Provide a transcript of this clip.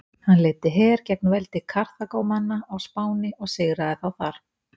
Hann leiddi her gegn veldi Karþagómanna á Spáni og sigraði þá þar.